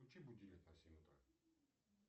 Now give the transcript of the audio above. включи будильник на семь утра